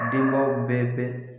Denbaw bɛɛ bɛ.